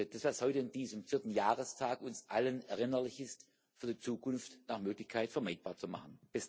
das, was heute an diesem vierten Jahrestag uns allen erinnerlich ist, für die Zukunft nach Möglichkeit vermeidbar zu machen.